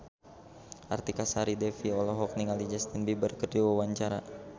Artika Sari Devi olohok ningali Justin Beiber keur diwawancara